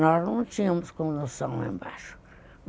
Nós não tínhamos condução lá embaixo.